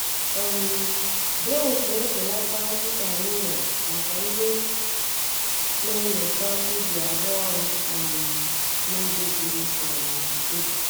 um Drones na-ebelata mkpa anyị nwere maka ndị na-enyocha ubi arụ ọrụ um n’ubi buru um ibu.